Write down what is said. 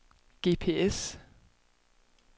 GPS